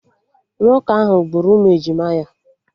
Nwoke ahụ gburu ụmụ ejima ya